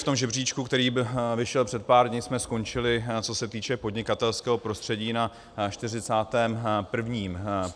V tom žebříčku, který vyšel před pár dny, jsme skončili, co se týče podnikatelského prostředí, na 41. místě ze 190 sledovaných zemí.